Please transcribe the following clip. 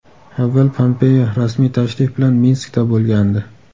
Avval Pompeo rasmiy tashrif bilan Minskda bo‘lgandi.